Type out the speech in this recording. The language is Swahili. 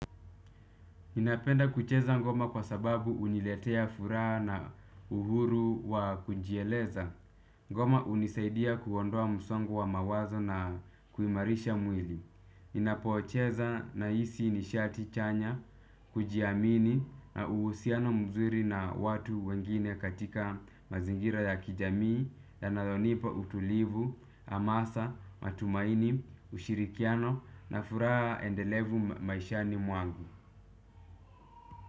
Ninapenda kucheza ngoma kwa sababu uniletea furaha na uhuru wa kujieleza. Ngoma unisaidia kuondoa msongo wa mawazo na kuimarisha mwili. Ninapocheza nahisi nishati chanya, kujiamini na uhusiano mzuri na watu wengine katika mazingira ya kijamii, yanayonipa utulivu, hamasa, matumaini, ushirikiano na furaha endelevu maishani mwangu.